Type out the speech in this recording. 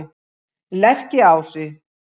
Lerkiási